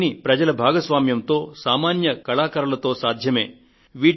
ఇవన్నీ ప్రజల భాగస్వామ్యంతోను సామాన్య కళాకారులతోను సాధ్యమయ్యేవే